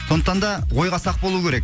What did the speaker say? сондықтан да ойға сақ болу керек